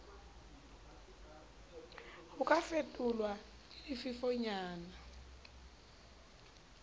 ho ka fefolwa ke difefonyana